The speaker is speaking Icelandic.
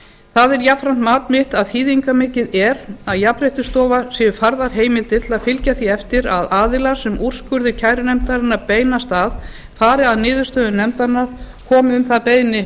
það er jafnframt mat mitt að þýðingarmikið er að jafnréttisstofu séu færðar heimildir til að fylgja því eftir að aðilar sem úrskurðir kærunefndarinnar beinast að fari að niðurstöðum nefndanna komi um það beiðni